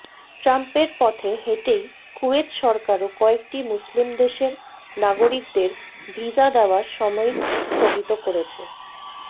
ট্রাম্পের পথে হেঁটেই কুয়েত সরকারও কয়েকটি মুসলিম দেশের নাগরিকদের ভিসা দেওয়া সাময়িক স্থগিত করেছে